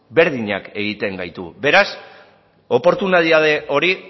berdinak egiten gaitu beraz oportunitate hori